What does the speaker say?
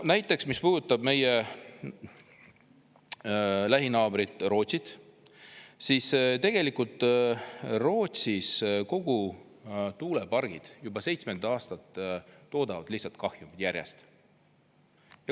Näiteks, mis puudutab meie lähinaabrit Rootsit, siis tegelikult Rootsis kogu tuulepargid juba seitsmendat aastat toodavad lihtsalt kahjumit.